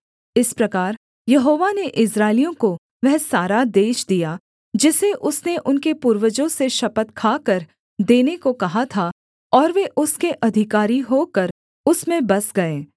इस प्रकार यहोवा ने इस्राएलियों को वह सारा देश दिया जिसे उसने उनके पूर्वजों से शपथ खाकर देने को कहा था और वे उसके अधिकारी होकर उसमें बस गए